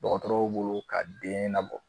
Dɔgɔtɔrɔw bolo ka den nabɔ